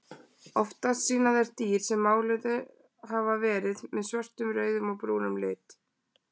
Oftast sýna þær dýr sem máluð hafa verið með svörtum, rauðum og brúnum lit.